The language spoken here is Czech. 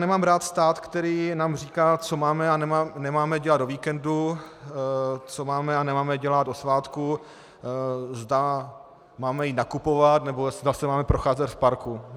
Nemám rád stát, který nám říká, co máme a nemáme dělat o víkendu, co máme a nemáme dělat o svátku, zda máme jít nakupovat, nebo zda se máme procházet v parku.